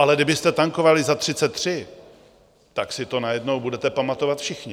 Ale kdybyste tankovali za 33, tak si to najednou budete pamatovat všichni.